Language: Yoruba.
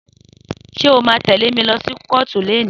Só mà tẹle mi lọsi kọ̀ọ́tú leni?